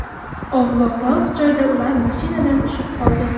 Ovloqroq joyda ular mashinadan tushib qoldi.